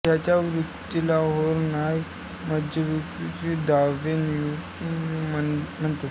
ह्या वृत्तीला होर्नाय मज्जाविकृत दावे न्यूरॉटिक क्लेम्स म्हणते